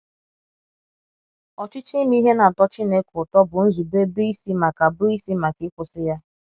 Ọchịchọ ime ihe na - atọ Chineke ụtọ bụ nzube bụ́ isi maka bụ́ isi maka ịkwụsị ya.